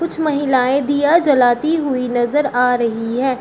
कुछ महिलाएं दिया जलाती हुई नजर आ रही है।